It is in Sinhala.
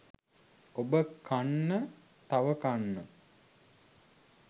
ඔබ කන්න තව කන්න